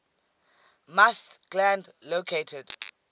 musth gland located